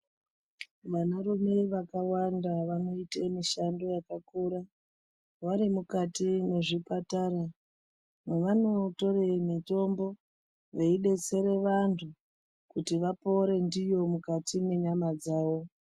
Vana rume vakawanda vanoite mishando yakakura vari mukati mwezvipatara. Mwavanotore mutombo yeibetsere vantu. Kuti vapore ndiyo mukati mwenyama dzavo.